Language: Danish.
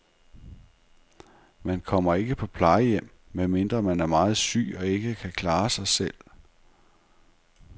Man kommer ikke på plejehjem, medmindre man er meget syg og ikke kan klare sig selv.